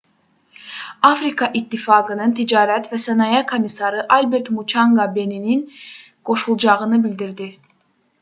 afrika ittifaqının ticarət və sənaye komissarı albert muçanqa beninin qoşulacağını bildirdi